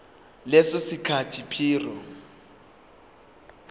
leso sikhathi prior